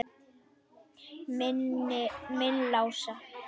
Minn Lása?